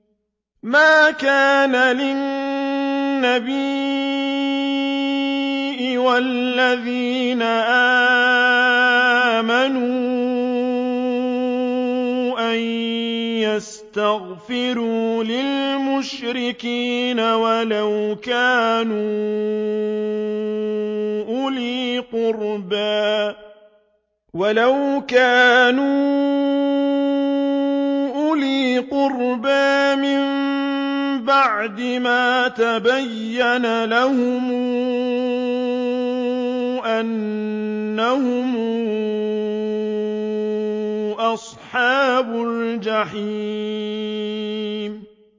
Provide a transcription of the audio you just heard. مَا كَانَ لِلنَّبِيِّ وَالَّذِينَ آمَنُوا أَن يَسْتَغْفِرُوا لِلْمُشْرِكِينَ وَلَوْ كَانُوا أُولِي قُرْبَىٰ مِن بَعْدِ مَا تَبَيَّنَ لَهُمْ أَنَّهُمْ أَصْحَابُ الْجَحِيمِ